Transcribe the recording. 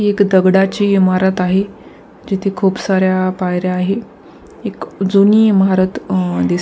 हि एक दगडाची इमारत आहे जिथे खूप साऱ्या पायऱ्या आहेत एक जुनी इमारत अ अ दिस --